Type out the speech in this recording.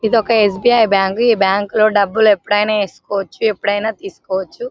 ఇదొక SBI. Bank బ్యాంకులో డబ్బులు ఎప్పుడైనా వేసుకోవచ్చు ఎప్పుడైనా తీసుకోవచ్చు